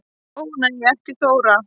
Ó nei ekki Þóra